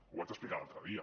ho vaig explicar l’altre dia